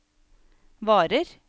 varer